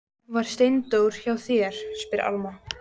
Var Steindór hjá þér, spyr Alma.